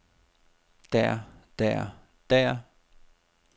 der der der